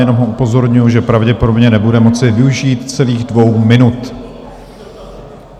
Jenom ho upozorňuji, že pravděpodobně nebude moci využít celých dvou minut.